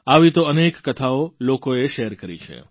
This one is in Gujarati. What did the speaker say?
આવી તો અનેક કથાઓ લોકોએ શેર કરી છે